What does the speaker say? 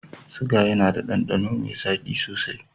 Siga yAna da dandano me zaki sosai